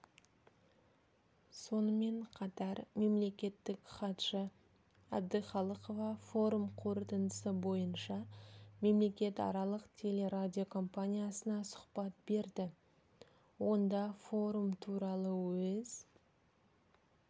сонымен қатар мемлекеттік хатшы әбдіқалықова форум қорытындысы бойынша мемлекетаралық телерадиокомпаниясына сұхбат берді онда форум туралы өз